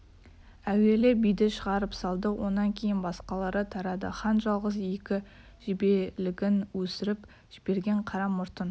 әуелі биді шығарып салды онан кейін басқалары тарады хан жалғыз екі жебелігін өсіріп жіберген қара мұртын